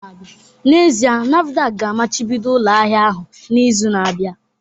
N'ezie, NAFDAC ga-amachibido ụlọ ahịa ahụ n'izu na-abịa